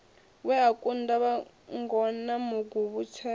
we a kunda vhangona maguvhutswera